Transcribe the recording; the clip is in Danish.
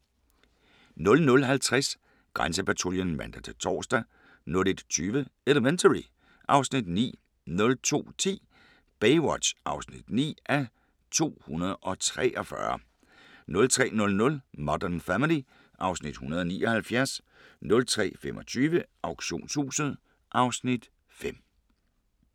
00:50: Grænsepatruljen (man-tor) 01:20: Elementary (Afs. 9) 02:10: Baywatch (9:243) 03:00: Modern Family (Afs. 179) 03:25: Auktionshuset (Afs. 5)